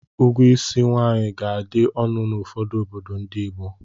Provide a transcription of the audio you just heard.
Ụgwọ ísí nwaanyị ga-adị ọnụ n'ụfọdụ obodo ndị Igbo.